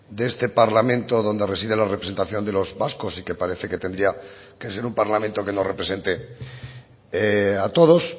de este parlamento donde reside la representación de los vascos y que parece que tendría que ser un parlamento que nos represente a todos